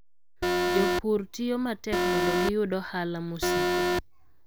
Jopur tiyo matek mondo giyud ohala mosiko.